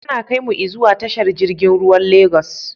Ana kaimu i zuwa tashar jirgin ruwan Lagos